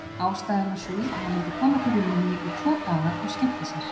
Ástæðan var sú að hann vildi koma til Rúmeníu í tvo daga og skemmta sér.